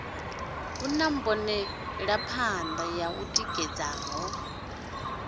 hu na mbonelaphanḓa ḓo ḓitikaho